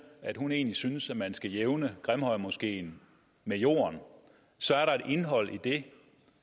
at hun egentlig synes at man skal jævne grimhøjmoskeen med jorden så er der et indhold i det